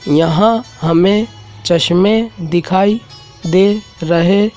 यहां हमें चश्में दिखाई दे रहे--